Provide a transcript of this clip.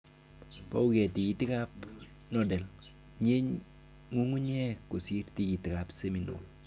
Bouke tikiikikab nodal, nyie ngungunyeek kosir tikiikikab seminal